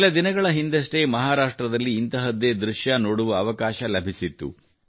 ಕೆಲ ದಿನಗಳ ಹಿಂದಷ್ಟೇ ಮಹಾರಾಷ್ಟ್ರದಲ್ಲಿ ಇಂತಹದ್ದೇ ದೃಶ್ಯ ನೋಡುವ ಅವಕಾಶ ಲಭಿಸಿತ್ತು